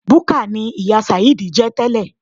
Búkà ni ìyá sàheed jẹ́ tẹ́lẹ̀.